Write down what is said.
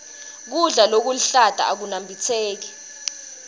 kudla lokuhlata akunambitseki